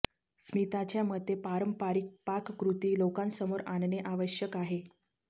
स्मिताच्या मते पारंपरिक पाककृती लोकांसमोर आणणे आवश्यक आहे